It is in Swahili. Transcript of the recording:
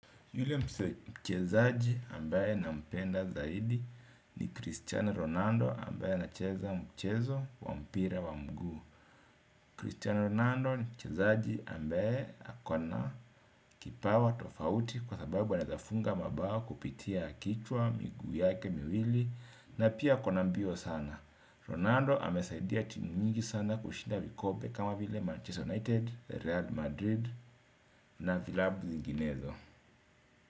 Yule mchezaji ambaye nampenda zaidi ni Cristiano Ronaldo ambaye anacheza mchezo wa mpira wa mguu. Cristiano Ronaldo ni mchezaji ambaye ako na kipawa tofauti kwa sababu wanazafunga mabao kupitia kichwa, miguu yake, miwili na pia ako na mbio sana. Ronaldo amesaidia timu mingi sana kushinda vikombe kama vile Manchester United, Real Madrid na vilabu zinginezo.